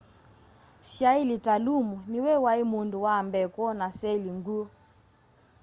syailyi ta lumu nĩwe waĩ mundu wa mbee kwona seli ngwũ